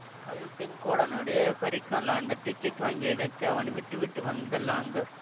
அது செங்கோடனுடைய ஹரிக்கன் லாந்தர் டிக்கட் வாங்கிய இடத்தில் அவன் விட்டுவிட்டு வந்த லாந்தர்